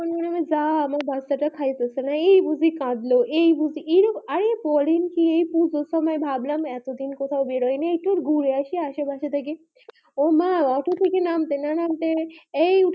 যা আমার বাচ্চাটা খাইতেছে না এই কাঁদলো এই বুঝি অরে করেন কে দুজনে ভাবলাম এত দিন কোথাও বেরোয়নি একটু গুঁড়া আসি আসে পাশে থেকে ওমা বাসা থেকে নামতেই না নামতে এই